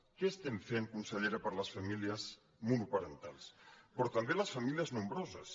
què estem fent consellera per a les famílies monoparentals però també les famílies nombroses